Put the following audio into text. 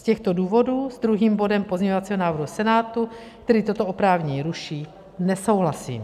Z těchto důvodu s druhým bodem pozměňovacího návrhu Senátu, který toto oprávnění ruší, nesouhlasím.